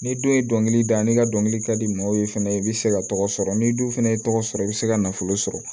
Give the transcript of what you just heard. Ni don ye dɔnkili da n'i ka dɔnkili ka di maaw ye fɛnɛ i bɛ se ka tɔgɔ sɔrɔ n'i dun fana ye tɔgɔ sɔrɔ i bɛ se ka nafolo sɔrɔ